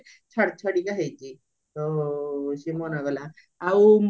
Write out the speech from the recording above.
ଛାଡି ଛାଡିକା ହେଇଚି ଆଉ ସିଏ ମନ କଲା ଆଉ